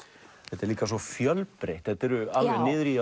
þetta er líka svo fjölbreytt þetta eru alveg niður í